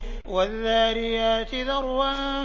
وَالذَّارِيَاتِ ذَرْوًا